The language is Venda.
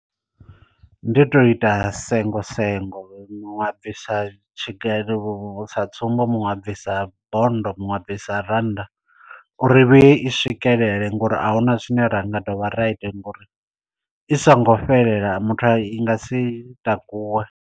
Ndi uto ita sengo sengo muṅwe a bvisa tshigelo sa tsumbo muṅwe a bvisa bonndo muṅwe a bvisa rannda u ri vhuye i swikelele ngori ahuna zwine ra nga dovha ra ita ngori i songo fhelela muthu a i nga si takuwe.